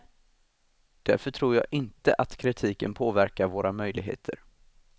Därför tror jag inte att kritiken påverkar våra möjligheter.